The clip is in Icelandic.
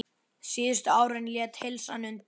Síðustu árin lét heilsan undan.